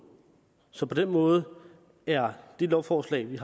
så på den måde er det lovforslag vi